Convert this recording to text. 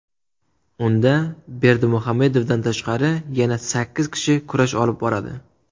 Unda, Berdimuhamedovdan tashqari, yana sakkiz kishi kurash olib boradi.